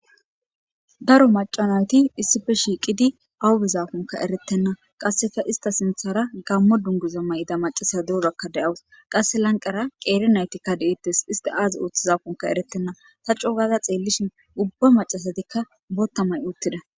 daro macanayti issife shiiqidi awubizafonka eretenna qasseka ista sinthara gammo dunguza may7ida macasa durakka de7awus qasse lanqara qeerinaytikka deeettes ista aazi ooththizafonka eretenna ta cogada xeellishin ubba macasatikka bottamay uttida